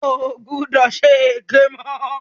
O ò gbọdọ̀ ṣe èké mọ́.